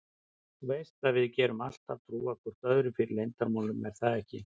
Þú veist að við getum alltaf trúað hvor öðrum fyrir leyndarmálum er það ekki?